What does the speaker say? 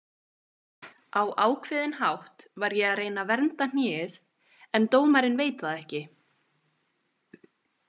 Á ákveðinn hátt var ég að reyna að vernda hnéð en dómarinn veit það ekki.